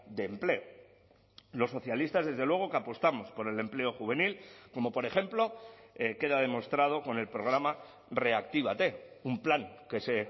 de empleo los socialistas desde luego que apostamos por el empleo juvenil como por ejemplo queda demostrado con el programa reactívate un plan que se